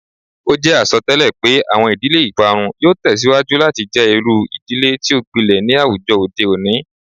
O jẹ asọtẹlẹ pe awọn idile iparun yoo tẹsiwaju lati jẹ iru idile ti o gbilẹ ni awujọ ode oni